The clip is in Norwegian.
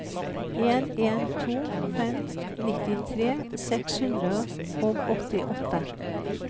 en en to fem nittitre seks hundre og åttiåtte